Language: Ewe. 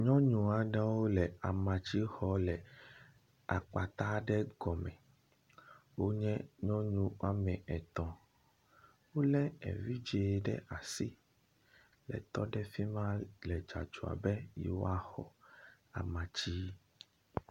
Nyɔ aɖewo le amatsi xɔm le akpata aɖe gɔme. Wonye nyɔnu wome etɔ̃. Wolé evidzɛ̃ ɖe asi hetɔ ɖe afi ma le dzɔdzɔ be yewoaxɔ amatsi.